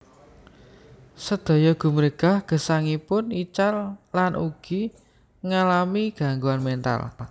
Sedaya gumregah gesangipun ical lan ugi ngalami gangguan mental